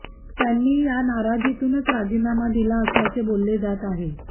त्यांनी या नाराजीतूनच राजीनामा दिला असल्याचे बोलले जात आहे